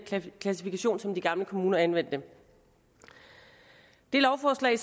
klassifikation som de gamle kommuner anvendte det lovforslag